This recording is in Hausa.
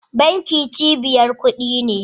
Banki cibiyar kudi ce